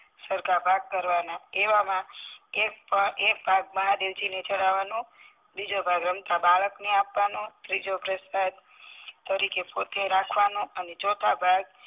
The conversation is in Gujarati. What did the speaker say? સરખા ભાગ કરવાના એવામાં એક એક ભાગ મહાદેવજી ને ચડવાનો બીજો ભાગ રમતા બાળકને આપવાનો ત્રીજો પ્રસાદ તરીકે પોતે રાખવા નો અને ચોથો ભાગ